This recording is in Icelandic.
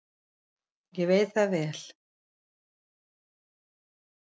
Ummæli Aristótelesar um muninn á sagnfræði og skáldskap eru nokkurs konar skilgreining á hugtakinu list.